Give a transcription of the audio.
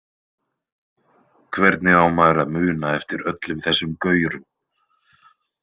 Hvernig á maður að muna eftir öllum þessum gaurum?